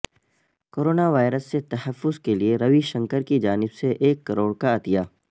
corona virus سے تحفظ کیلئے روی شنکر کی جانب سے ایک کروڑ کا عطیہ